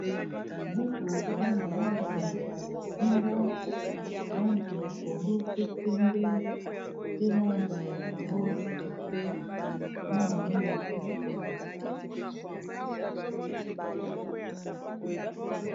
Buku eza na langi ya bozinga, langi ya pondu, pe pembe pe langi ya rose na moyindo.